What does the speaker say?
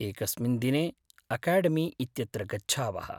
एकस्मिन् दिने अकाडेमी इत्यत्र गच्छावः।